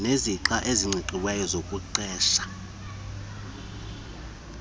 nezixa eziqingqiweyo zokuqeshwa